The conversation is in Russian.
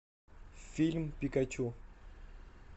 фильм пикачу